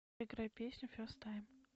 играй песню фест тайм